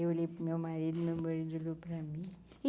Eu olhei para o meu marido e o meu marido olhou para mim.